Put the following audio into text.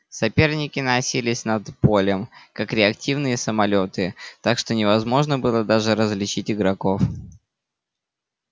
соперники носились над полем как реактивные самолёты так что невозможно было даже различить игроков